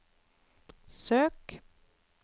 søk